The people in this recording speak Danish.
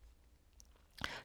TV 2